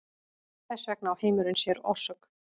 Þess vegna á heimurinn sér orsök.